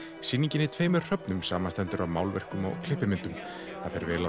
sýningin í tveimur samanstendur af málverkum og klippimyndum það fer vel á